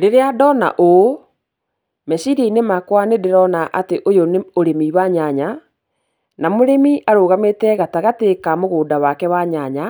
Rĩrĩa ndona ũũ, meciria-inĩ makwa nĩ ndĩrona atĩ ũyũ nĩ ũrĩmi wa nyanya, na mũrĩmi arũgamĩte gatagatĩ ka mũgũnda wake wa nyanya